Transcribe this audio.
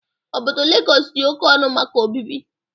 Obodo Legọs dị oke ọnụ maka obibi.